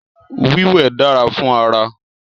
Wíwẹ̀ dára fún ara